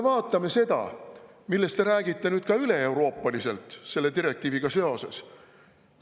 " Vaatame seda, millest te räägite ka üleeuroopaliselt selle direktiiviga seoses.